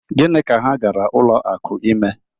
Gịnị ka ha gara ụlọ akụ ime?